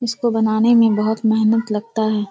इसको बनाने में बोहोत मेहनत लगता है।